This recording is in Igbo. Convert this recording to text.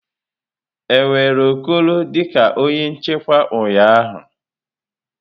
E were Okoro dị ka onye nchekwa ụnyaahụ?